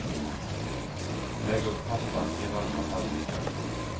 Lägg upp pastan i varma tallrikar.